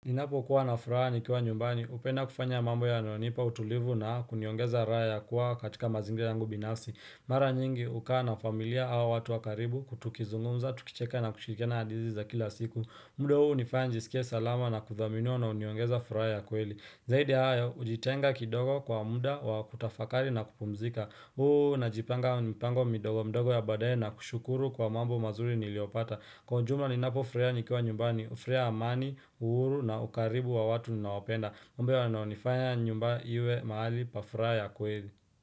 Inapo kuwa na furaha nikiwa nyumbani, upenda kufanya mambo yana nipa utulivu na kuniongeza raha ya kuwa katika mazingira yangu binafsi. Mara nyingi, hukaa na familia au watu wakaribu, tukizungumza, tukicheka na kushirikena hadizi za kila siku. Mduo huu nifaya njisikia salama na kuthaminiwa na uniongeza furaia kweli. Zaidi haya, ujitenga kidogo kwa muda wa kutafakari na kupumzika. Huu na jipanga mpango midogo mdogo ya badaye na kushukuru kwa mambo mazuri niliopata. Kwa njuma ni napo frea nikiwa nyumbani, frea amani, uuru na ukaribu wa watu na wapenda Mbewa naonifanya nyumba iwe mahali pafraa ya kweli.